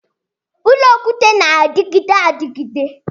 Ụlọ okwute na-adịgide adịgide